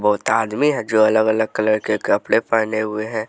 बहुत आदमी है जो अलग अलग कलर के कपड़े पहने हुए हैं।